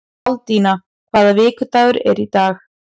Baldína, hvaða vikudagur er í dag?